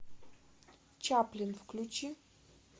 чаплин включи